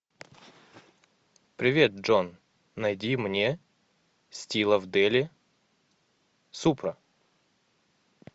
привет джон найди мне стилов дели супра